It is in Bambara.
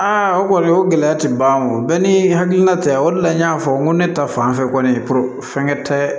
o kɔni o gɛlɛya tɛ ban wo bɛɛ ni hakilina tɛ o de la n y'a fɔ n ko ne ta fanfɛ kɔni fɛnkɛ tɛ